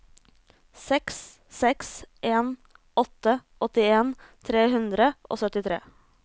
seks seks en åtte åttien tre hundre og syttitre